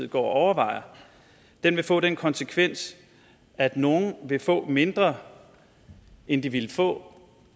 går og overvejer vil få den konsekvens at nogle vil få mindre end de ville få